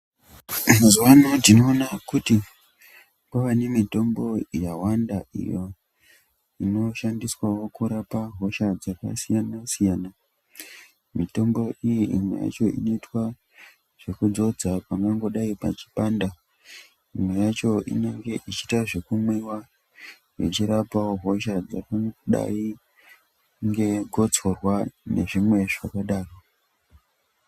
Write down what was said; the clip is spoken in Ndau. Mazuwa anaya tinoona kuti kwane mitombo yawanda inoshandiswa kurapa hosha dzakasiyana siyana mitombo iyi imwe yacho inoitwa zvekudzodzwa pangadai peipanda imwe yacho inoita zvekumwiwa ichirapawo hosha dzakadai negotsorwa nezvimwe zvakadaro